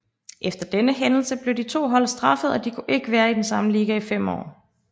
Efter denne hændelse blev de to hold straffet og de kunne ikke være i den samme liga i 5 år